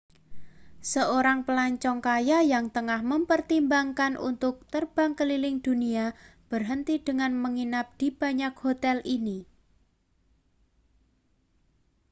seorang pelancong kaya yang tengah mempertimbangkan untuk terbang keliling dunia berhenti dengan menginap di banyak hotel ini